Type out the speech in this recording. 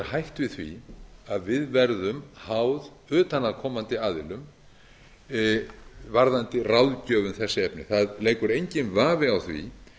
við því að við verðum háð utanaðkomandi aðilum varðandi ráðgjöf um þessi efni það leikur enginn vafi á því